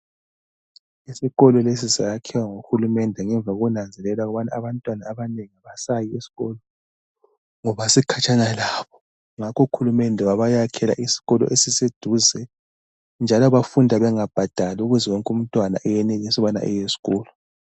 Isikolo lesi sayakhiwa nguhulumende ngemva kokunanzelela ukuthi abantwana abanengi abasayi esikolo ngoba sikhatshana labo. Ngakho uhulumende wabayakhela isikolo esiseduze njalo bafunda bengabhadali ukuze wonke umntwana ayenelise ukubana aye esikolo.